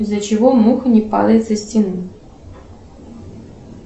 из за чего муха не падает со стены